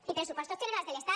i pressupostos generals de l’estat